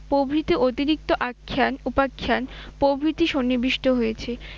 প্রভৃতি অতিরিক্ত আচ্ছান উপাচ্ছান প্রভৃতি সন্নিবিষ্ট হয়েছে।